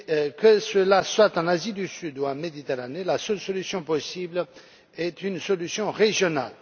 Que cela soit en Asie du Sud ou en Méditerranée, la seule solution possible est une solution régionale.